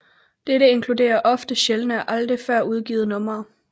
Dette inkluderer ofte sjældne og aldrig før udgivne numre